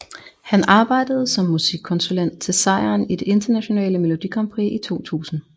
Han arbejdede som musikkonsulent til sejren i det internationale Melodi Grand Prix i 2000